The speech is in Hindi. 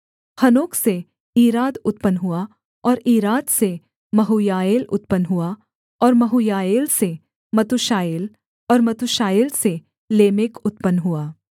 हनोक से ईराद उत्पन्न हुआ और ईराद से महूयाएल उत्पन्न हुआ और महूयाएल से मतूशाएल और मतूशाएल से लेमेक उत्पन्न हुआ